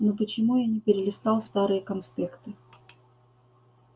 ну почему я не перелистал старые конспекты